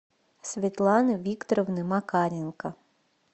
светланы викторовны макаренко